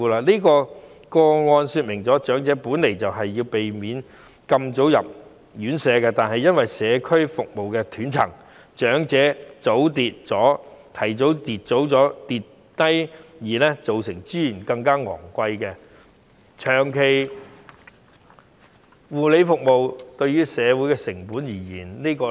以上個案說明了，長者本身是想避免太早入住院舍，但由於社區服務的斷層，長者提早發生跌傷意外，令照顧資源更加昂貴，增加了長期護理服務的成本。